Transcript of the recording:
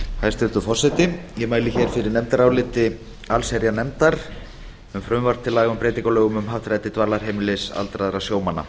hæstvirtur forseti ég mæli hér fyrir nefndaráliti allsherjarnefndar um frumvarp til laga til breytinga á lögum um happdrætti dvalarheimilis aldraðra sjómanna